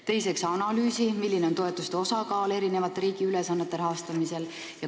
Teiseks, analüüsi, milline on toetuste osakaal riigi eri ülesannete rahastamisel.